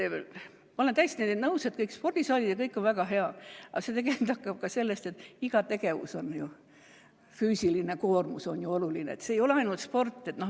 Ma olen täiesti nõus, et spordisaalid ja kõik see on väga hea, aga iga tegevus, füüsiline koormus on oluline, see ei ole ainult sport.